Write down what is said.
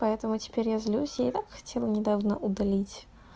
поэтому теперь я злюсь я так хотела недавно удалить